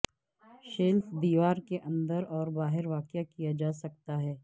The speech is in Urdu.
شیلف دیوار کے اندر اور باہر واقع کیا جا سکتا